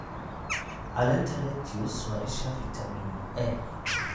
Caleenta lettuce waa isha fiitamiin A.